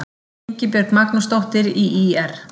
Ingibjörg Magnúsdóttir í ÍR